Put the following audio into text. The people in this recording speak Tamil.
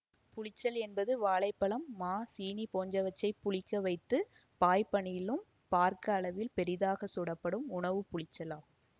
புளிச்சல் என்பது வாழை பழம் மா சீனி போன்றவற்றை புளிக்க வைத்து வாய்ப்பனிலும் பார்க்க அளவில் பெரிதாக சுடப்படும் உணவு புளிச்சல் ஆகும்